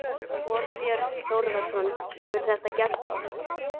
Þorbjörn Þórðarson: Hefur þetta gerst oft?